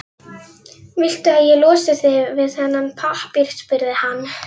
Viltu að ég losi þig við þennan pappír? spurði hann.